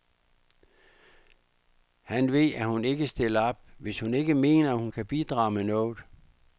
Han ved, at hun ikke stiller op, hvis hun ikke mener, hun kan bidrage med noget.